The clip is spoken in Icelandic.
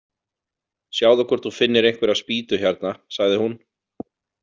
Sjáðu hvort þú finnir einhverja spýtu hérna, sagði hún.